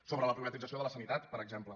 sobre la privatització de la sanitat per exemple